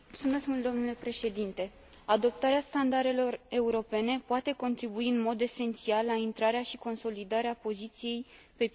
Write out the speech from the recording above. Adoptarea standardelor europene poate contribui în mod esențial la intrarea și consolidarea poziției pe piața unică a IMM urilor.